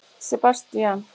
Sebastían